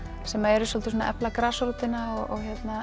sem eru svolítið að efla grasrótina